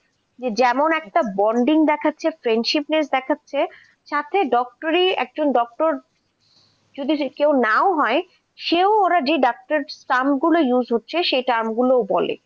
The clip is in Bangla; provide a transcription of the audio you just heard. যে যেমন একটা bonding দেখাচ্ছে friendshipness দেখাচ্ছে তাতে doctor ই একজন doctor যদি সে কেউ নাও হয় সে ও ওরা যে doctor term গুলো use হচ্ছে সে tarm গুলো ও বলে.